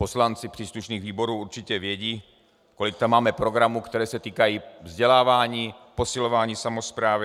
Poslanci příslušných výborů určitě vědí, kolik tam máme programů, které se týkají vzdělávání, posilování samosprávy.